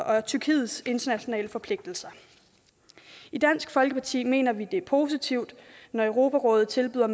og tyrkiets internationale forpligtelser i dansk folkeparti mener vi at det er positivt når europarådet tilbyder